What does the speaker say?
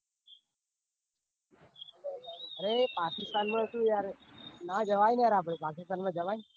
અરે પાકિસ્તાન માં સુ યાર ના જવાય યાર આપડે પાકિસ્તાન માં જવાય?